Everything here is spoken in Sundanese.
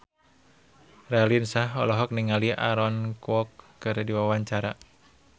Raline Shah olohok ningali Aaron Kwok keur diwawancara